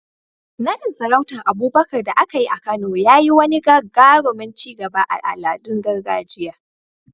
Naɗin sarautar Abubakar da aka yi a Kano ya yi wani gagarumin ci gaba a al'adun gargajiya.